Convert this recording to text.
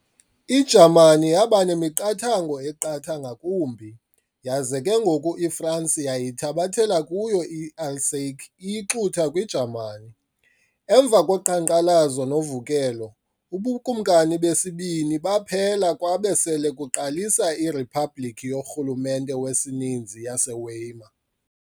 IJamani yabanemiqathango eqatha ngakumbi, yaza ke ngoko iFransi yayithabathela kuyo i-Alsace iyixutha kwi-Jamani. Emva koqhankqalazo novukelo, ubuKumkani besibini baphela kwabe sele kuqalisa iRhiphabhlikhi yorhulumente wesininzi yase-Weimar.